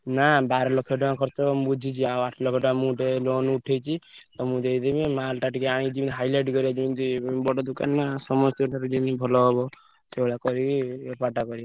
ନା ବାର ଲକ୍ଷ ଟଙ୍କା ଖର୍ଚ୍ଚ ହବ ମୁଁ ବୁଝିଚି ଆଉ ଆଠ ଲକ୍ଷ ଟଙ୍କା ମୁଁ ଗୋଟେ loan ଉଠେଇଚି। ତମକୁ ଦେଇଦେବି mall ଟା ଟିକେ ଆଣିକି highlight କରିଆ ଯେମିତି ବଡ ଦୋକାନ ନା ସମସ୍ତଙ୍କ ପାଖରେ ଯେମିତି ଭଲ ହବ। ସେଇ ଭଳିଆ କରିକି ବେପାର ଟା କରିଆ।